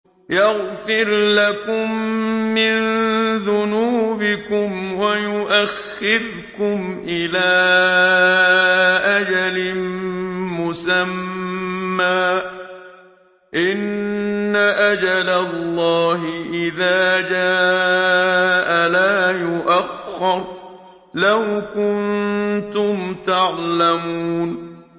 يَغْفِرْ لَكُم مِّن ذُنُوبِكُمْ وَيُؤَخِّرْكُمْ إِلَىٰ أَجَلٍ مُّسَمًّى ۚ إِنَّ أَجَلَ اللَّهِ إِذَا جَاءَ لَا يُؤَخَّرُ ۖ لَوْ كُنتُمْ تَعْلَمُونَ